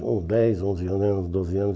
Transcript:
com dez, onze anos, era uns doze anos